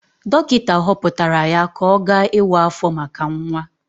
Dọkịta họpụtara ya ka ọ gaa ịwa áfọ̀ maka nwa.